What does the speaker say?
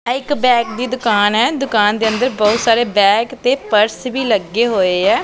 ਇਹ ਇੱਕ ਬੈਗ ਦੀ ਦੁਕਾਨ ਏ ਦੁਕਾਨ ਦੇ ਅੰਦਰ ਬਹੁਤ ਸਾਰੇ ਬੈਗ ਤੇ ਪਰਸ ਵੀ ਲੱਗੇ ਹੋਏ ਆ।